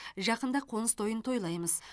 жақында қоныс тойын тойлаймыз